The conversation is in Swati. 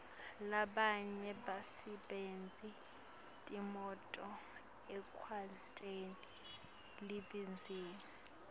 labanye basebentisa timoto ekwenteni libhizinisi